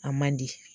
A man di